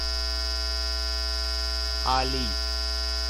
али